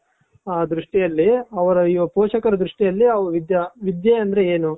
ದೃಷ್ಟಿಯಲ್ಲಿ ಅವರ ಪೋಷಕರ ದೃಷ್ಟಿಯಲ್ಲಿ ವಿದ್ಯಾ ವಿದ್ಯೆ ಅಂದ್ರೆ ಏನು.